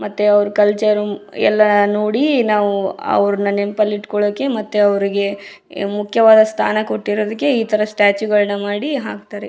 ಮತ್ತೆ ಅವ್ರ ಕಲ್ಚರ್ ಎಲ್ಲ ನೋಡಿ ನಾವು ಅವ್ರನ್ನ ನೆನ್ಪಲ್ಲಿ ಇಟ್ಕೊಳ್ಳೋಕೆ ಮತ್ತೆ ಅವ್ರಿಗೆ ಮುಖ್ಯವಾದ ಸ್ಥಾನ ಕೊಟ್ಟಿರೋದಕ್ಕೆ ಈ ತರ ಸ್ಟಾಚು ಗಳನ್ನಾ ಮಾಡಿ ಹಾಕ್ತಾರೆ.